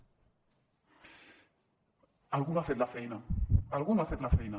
algú no ha fet la feina algú no ha fet la feina